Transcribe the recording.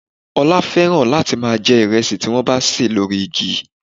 Ola fẹ́ràn láti máa jẹ ìrẹsì tí wọ́n bá ṣè lórí igi